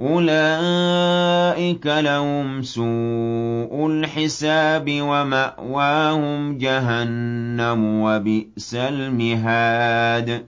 أُولَٰئِكَ لَهُمْ سُوءُ الْحِسَابِ وَمَأْوَاهُمْ جَهَنَّمُ ۖ وَبِئْسَ الْمِهَادُ